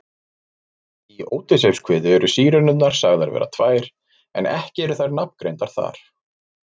Í Ódysseifskviðu eru Sírenurnar sagðar vera tvær en ekki eru þær nafngreindar þar.